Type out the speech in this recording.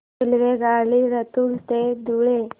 रेल्वेगाडी लातूर ते धुळे